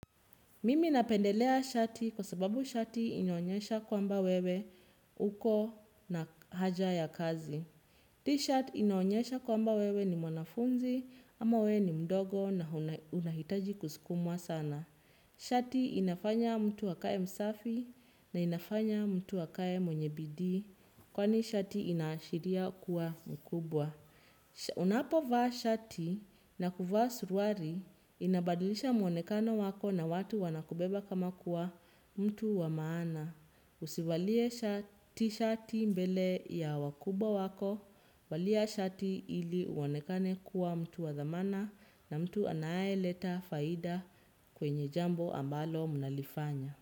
Mimi napendelea shati kwa sababu shati inaonyesha kwamba wewe uko na haja ya kazi. T-shirt inaonyesha kwamba wewe ni mwanafunzi ama wewe ni mdogo na unahitaji kusukumwa sana. Shati inafanya mtu akae msafi na inafanya mtu akae mwenye bidii kwani shati inaashiria kuwa mkubwa. Unapo vaa shati na kuvaa suruari inabadilisha muonekano wako na watu wanakubeba kama kuwa mtu wa maana. Usivalie t shati mbele ya wakubwa wako valia shati ili uonekane kuwa mtu wa thamana na mtu anayeleta faida kwenye jambo ambalo mnalifanya.